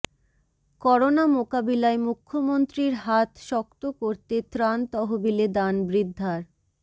corona মোকাবিলায় মুখ্যমন্ত্রীর হাত শক্ত করতে ত্রাণ তহবিলে দান বৃদ্ধার